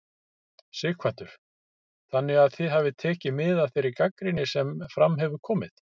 Sighvatur: Þannig að þið hafið tekið mið af þeirri gagnrýni sem fram hefur komið?